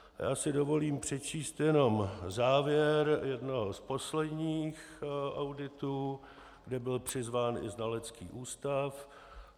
Já si dovolím přečíst jenom závěr jednoho z posledních auditů, kde byl přizván i znalecký ústav.